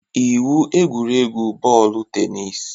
Iwu egwuregwu bọọlụ tenis